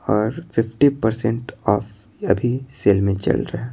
और fifty percent off अभी sale में चल रहा है।